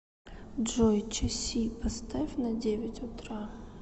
джой часи поставь на девять утра